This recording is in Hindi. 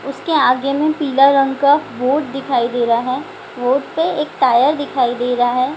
उसके आगे में पीला रंग का बोट दिखाई दे रहा है। बोट पे एक टायर दिखाई दे रहा है।